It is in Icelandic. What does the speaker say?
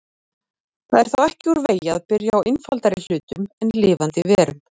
Það er ekki úr vegi að byrja á einfaldari hlutum en lifandi verum.